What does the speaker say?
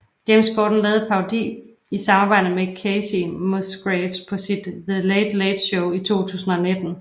James Corden lavede en parodi i samarbejde med Kacey Musgraves på sit The Late Late Show i 2019